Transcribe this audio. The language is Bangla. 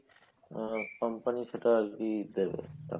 company সেটার ই দেবে